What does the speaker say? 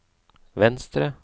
venstre